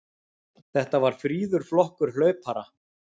Þetta var fríður flokkur hlaupara.